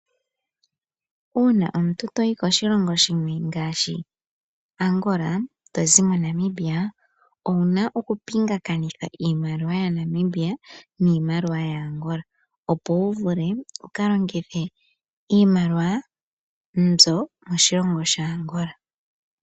Uuna omuntu to yi koshilongo shimwe ngaashi Angola to zi moNamibia owu na okupingakanitha iimaliwa yaNamibia niimaliwa yaAngola, opo wu vule wu ka longithe iimaliwa mbyoka moshilongo shaAngola.